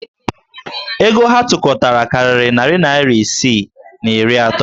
Ego ha tụkọtara karịrị narị naịra isi na iri atọ.